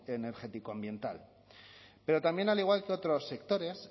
energético ambiental pero también al igual que otros sectores